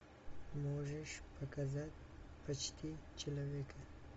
можешь показать почти человека